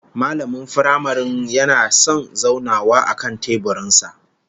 Mallamin firamaren yana da son zaunawa akan teburin sa